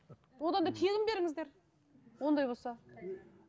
одан да тегін беріңіздер ондай болса